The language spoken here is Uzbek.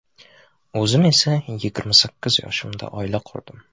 O‘zim esa yigirma sakkiz yoshimda oila qurdim.